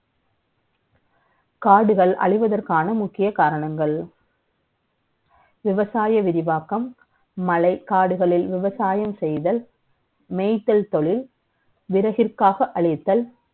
காடுகள் அழிவதற்கான முக்கிய காரணங்கள் விவசாய விரிவாக்கம், மலை, காடுகளில் விவசாயம் செ ய்தல், மே ய்த்தல் த ொழில், விறகிற்காக அளித்தல்,